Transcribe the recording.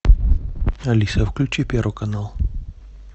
алиса включи первый канал